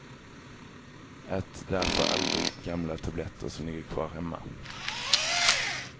Ät därför aldrig gamla tabletter som ligger kvar hemma.